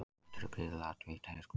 Matur er gríðarlega vítt hugtak